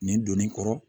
Nin donni kɔrɔ